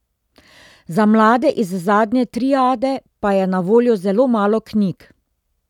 Za mlade iz zadnje triade pa je na voljo zelo malo knjig.